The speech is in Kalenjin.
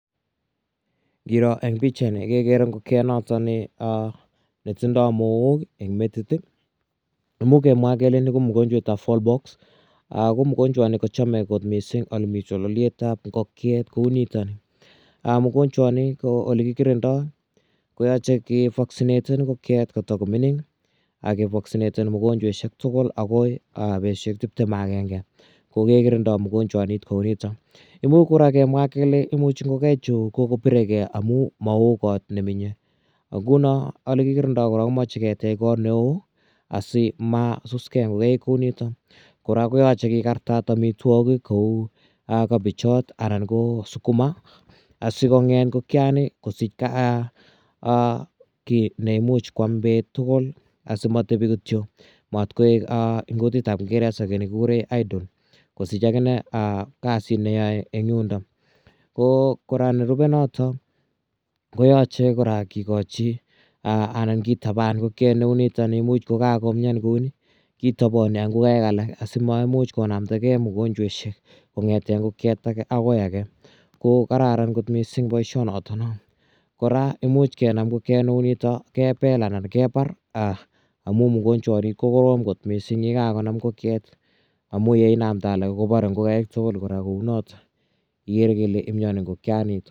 Ngiro eng' pichaini kekere ngokiet notok ne tindai mook eng' metit. Imuch kemwa kele ni ko mogonchwet ap fowlpox. Ko mogonchwani kochame kot missing' ole mi chololiet ap ngokiet kou nitani. Mogonchwani ole kikirindai ko yache kevaksineten ngokiet ko tuko mining', ke vaksineten mogonchweshek tugul akoi petushek tiptem ak agenge. Ko ke kirindai mogonchwanit kou nitok. Imuchi nguno kemwa kele Imuchi ngokaichu kopiregei amu ma oo kot menye. Nguno ole kikirindai korok ko mache ketech kot ne oo asimasusgei ngokaik kou nitok. Korok koyache kikartat amitwogik kou kabejat anan ko sukuma asikong'et ngokiani kosich ki ne imuch koam peet tugul asimatepi kityo. Matkoek eng' kutit ap kingeresa ki ne kikure idol, kosich akine kasit ne yae eng' yundok. Ko kora nerupe notok ko yache kora kikachi anan kitapan ngokiet neu nitani, imuchko kakomian kou nitani, kitapani ak ngokaik alak asiko maimuch konamdagei mogonchweshek kong'ete ngokiet age akoi age. Ko kararan kot missing' poishonatono. Kora imuch kenam ngokiet ne u nitani kepel anan kepar amu mogonchwani ko korom missing' ye kakonam ngokiet amu ye inamda alak kopare tugul kora kou notok. Igere ile imiani ngokianitak.